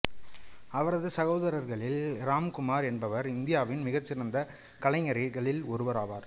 அவரது சகோதரர்களில் இராம்குமார் என்பவர் இந்தியாவின் மிகச் சிறந்த கலைஞர்களில் ஒருவராவார்